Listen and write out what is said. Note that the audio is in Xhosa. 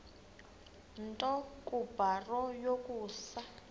nto kubarrow yokusa